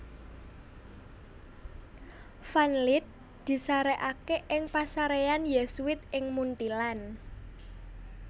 Van Lith disarèkaké ing pasaréyan Yésuit ing Munthilan